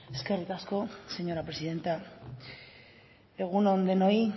eskerrik asko señora presidenta egun on denoi